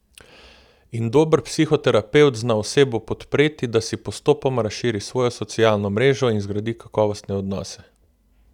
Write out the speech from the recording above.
In dober psihoterapevt zna osebo podpreti, da si postopoma razširi svojo socialno mrežo in zgradi kakovostne odnose.